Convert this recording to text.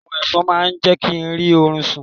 Àwọn ẹ̀fọn náà ò jẹ́ kí n rí orun sún